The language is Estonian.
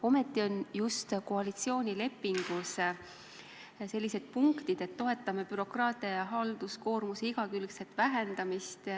Ometi on just koalitsioonilepingus selline punkt, et toetame bürokraatia ja halduskoormuse igakülgset vähendamist.